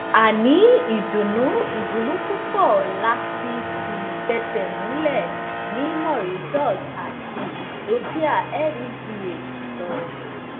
a ní ìdùnnú ìdùnnú pupọ lati ti fẹsẹmulẹ ni mauritius ati ethiopia legh sọ